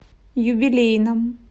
юбилейном